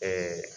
Ɛɛ